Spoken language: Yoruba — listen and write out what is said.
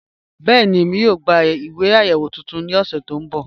Bẹẹni, ẹ̀mí yóò gbà ìwé ayéwo tuntun ni ọ̀ṣẹ to nbọ́.